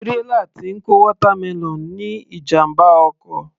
Tírélà tí ń kó watermelon ní ìjàmbá ọkọ̀